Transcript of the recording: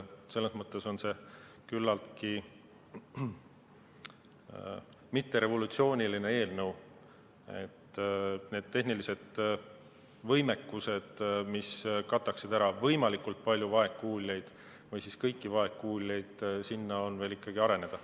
Selles mõttes on see küllaltki mitterevolutsiooniline eelnõu, et nende tehniliste võimekusteni, mis kataksid ära võimalikult palju vaegkuuljaid või siis kõiki vaegkuuljaid, sinna on veel ikkagi areneda.